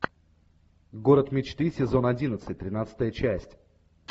город мечты сезон одиннадцать тринадцатая часть